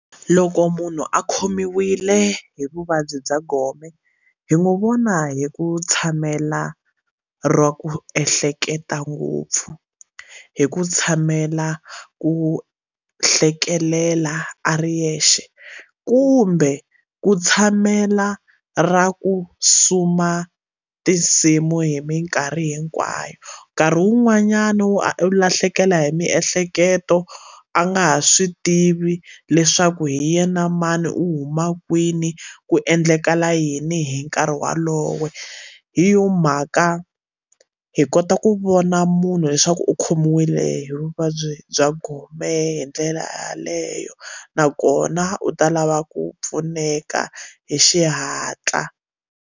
Loko munhu a khomiwile hi vuvabyi bya gome hi n'wi vona hi ku tshamela ra ku ehleketa ngopfu hi ku tshamela ku hlekelela a ri yexe kumbe ku tshamela ra ku suma tinsimu hi minkarhi hinkwayo nkarhi wun'wanyani u lahlekela hi miehleketo a nga ha swi tivi leswaku hi yena mani u huma kwini ku endlakala yini hi nkarhi walowo hi yona mhaka hi kota ku vona munhu leswaku u khomiwile hi vuvabyi bya gome hi ndlela yeleyo nakona u ta lava ku pfuneka hi xihatla.